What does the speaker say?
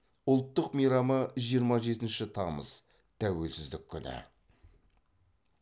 ұлттық мейрамы жиырма жетінші тамыз тәуелсіздік күні